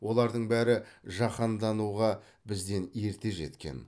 олардың бәрі жаһандануға бізден ерте жеткен